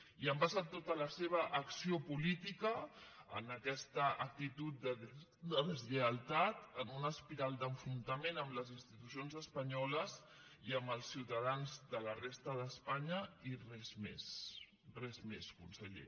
i han basat tota la seva acció política en aquesta actitud de deslleialtat en una espiral d’enfrontament amb les institucions espanyoles i amb els ciutadans de la resta d’espanya i res més res més conseller